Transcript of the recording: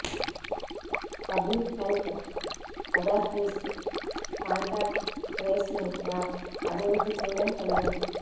public health authorities contact tracing apps అభివృద్ధి చేయడం సులభం